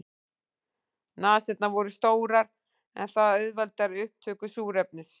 Nasirnar voru stórar en það auðveldar upptöku súrefnis.